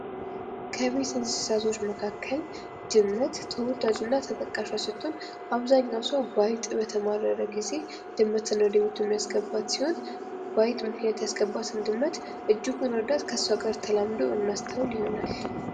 ከቤት እንስሳቶች መካከል ድመት ተወዳጅዋና ተጠቃሽዋ ስትሆን አብዛኛው ሰው በአይጥ በተማረረ ጊዜ ድመትን ወደ ቤቱ የሚያስገባ ሲሆን በአይጥ ምክንያት ያስገባትን ድመት እጅጉ ወዳት ከሷ ጋር ተላምዶ እናስተውል ይሆናል::